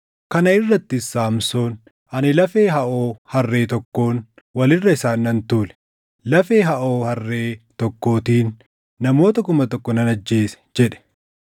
Kana irrattis Saamsoon, “Ani lafee haʼoo harree tokkoon, wal irra isaan nan tuule; lafee haʼoo harree tokkootiin, namoota kuma tokko nan ajjeese” jedhe.